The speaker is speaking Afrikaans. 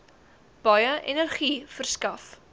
baie energie verskaf